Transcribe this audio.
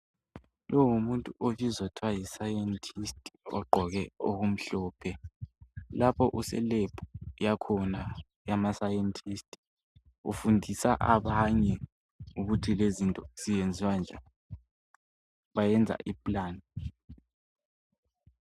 Lo ngumuntu obizwa kuthiwa yiScientist. Ogqoke okumhlophe. Lapha useLab, yakhona. YamaScientists. Ufundisa abanye ukuthi lezi izinto zenziwa kanjani. Bayenza iplan.